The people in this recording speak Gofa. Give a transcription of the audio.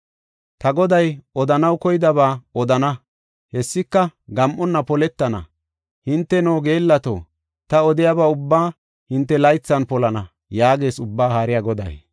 Ta Goday odanaw koydaba odana; hessika gam7onna poletana. Hinteno, geellato, ta odiyaba ubbaa hinte laythan polana” yaagees Ubbaa Haariya Goday.